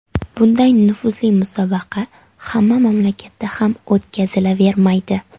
Bunday nufuzli musobaqa hamma mamlakatda ham o‘tkazilavermaydi.